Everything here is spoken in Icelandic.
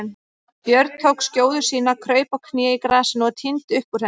Björn tók skjóðu sína, kraup á kné í grasinu og tíndi upp úr henni.